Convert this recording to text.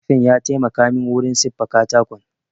Kurfin ya taimaka min wurin siffa katakon